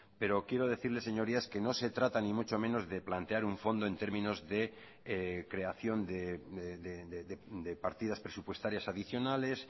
pero quiero decirles señorías que no se trata ni mucho menos de plantear un fondo en términos de creación de partidas presupuestarias adicionales